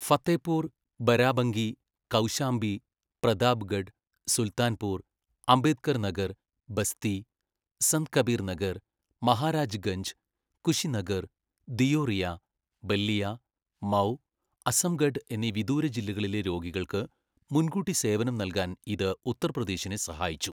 ഫത്തേപൂർ, ബരാബങ്കി, കൗശാംബി, പ്രതാപ്ഗഡ്, സുൽത്താൻപൂർ, അംബേദ്കർ നഗർ, ബസ്തി, സന്ത് കബീർ നഗർ, മഹാരാജ്ഗഞ്ച്, കുശിനഗർ, ദിയോറിയ, ബല്ലിയ, മൗ, അസംഗഡ് എന്നീ വിദൂര ജില്ലകളിലെ രോഗികൾക്ക് മുൻകൂട്ടി സേവനം നൽകാൻ ഇത് ഉത്തർപ്രദേശിനെ സഹായിച്ചു.